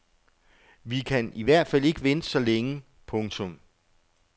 Vi kan i hvert fald ikke vente så længe. punktum